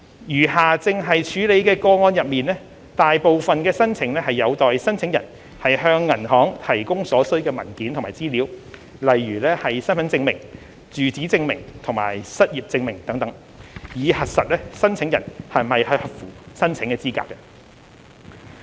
餘下正在處理的個案中，大部分申請有待申請人向銀行提供所需的文件和資料，例如身份證明、住址證明和失業證明等，以核實申請人是否合乎申請資格。